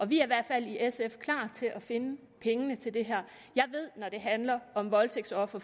vi er i hvert fald i sf klar til at finde pengene til det her jeg ved at når det handler om voldtægtsofre